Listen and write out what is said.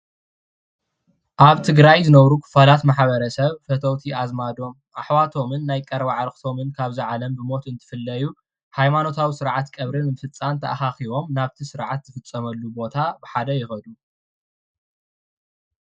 ኣብ ትግራይ ዝነብሩ ክፋላት ማሕበረሰብ ፈተውቲ ኣዝማዶም ኣሕዋቶምን ናይ ቀረባ ኣዕርክቶም ካብዚ ዓለም ብሞት እንትፍለዩ ሃይማኖታዊ ስርዓት ቀብሪ ንምፍፃም ተኣካኪቦም ናብቲ ስርዓት ዝፍፀመሉ ቦታ ብሓደ ይከዱ፡፡